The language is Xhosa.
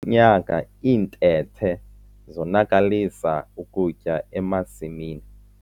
nyaka iintethe zonakalisa ukutya emasimini.